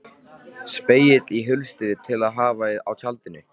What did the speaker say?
Spegill í hulstri til að hafa í tjaldinu.